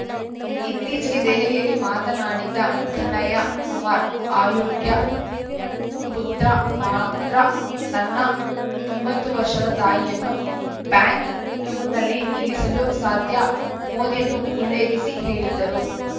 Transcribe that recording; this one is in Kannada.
ಇತ್ತೀಚೆಗೆ ದೆಹಲಿಯಲ್ಲಿ ಮಾತನಾಡಿದ್ದ ಕನ್ಹಯ್ಯ ಕುಮಾರ್‌ ಅಯೋಗ್ಯ ಪುತ್ರ ಮಾತ್ರ ತನ್ನ ತೊಂಬತ್ತು ವರ್ಷದ ತಾಯಿಯನ್ನು ಬ್ಯಾಂಕ್‌ ಕ್ಯೂನಲ್ಲಿ ನಿಲ್ಲಿಸಲು ಸಾಧ್ಯ ಮೋದಿಯನ್ನು ಉಲ್ಲೇಖಿಸಿ ಹೇಳಿದ್ದರು